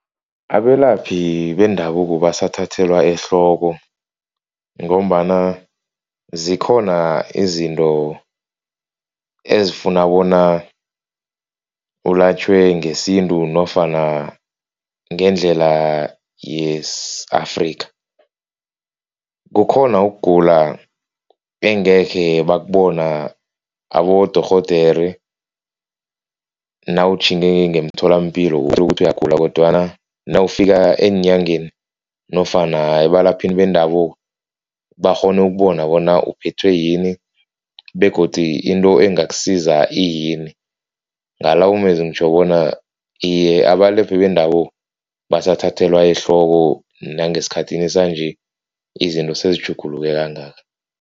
Abelaphi bendabuko basathathelwa ehloko ngombana zikhona izinto ezifuna bona ulatjhwe ngesintu nofana ngendlela yesi-Afrika. Kukhona ukugula engekhe bakubona abodorhodere nawutjhinge ngemtholampilo uthole ukuthi uyagula kodwana nawufika eenyangeni nofana ebalaphini bendabuko bakghone ukubona bona uphethwe yini begodi into engakusiza iyini ngalawo mezwi ngitjho bona iye, abalaphi bendabuko basathathelwa ehloko nangesikhathini sanje izinto sezitjhuguluke kangaka.